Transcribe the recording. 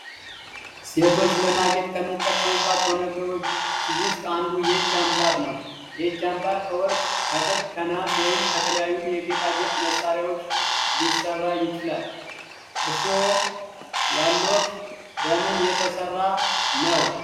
ሴቶች ለማጌጥ ከሚጠቀሙባቸው ነገሮች ውስጥ አንዱ የእጅ አምባር ነው። የእጅ አምባር ከ ወርቅ፣ ከብር፣ ከነሃስ ወይም ከተለያዩ የጌጣጌጥ መስሪያዎች ሊሰራ ይችላል። እርሶ ያሎት በምን የተሰራ ነው?